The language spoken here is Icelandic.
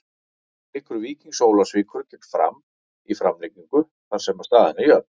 Leikur Víkings Ólafsvíkur gegn Fram er í framlengingu þar sem staðan er jöfn.